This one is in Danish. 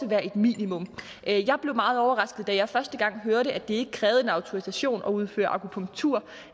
være et minimum jeg blev meget overrasket da jeg første gang hørte at det ikke krævede en autorisation at udføre akupunktur